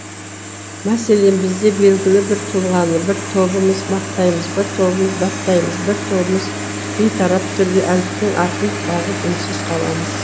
мәселен бізде белгілі бір тұлғаны бір тобымыз мақтаймыз бір тобымыз даттаймыз бір тобымыз бейтарап түрде әліптің артын бағып үнсіз қаламыз